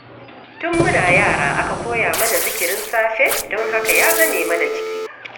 Tun muna yara aka koya mana zikirin safe, don haka ya zame mana jiki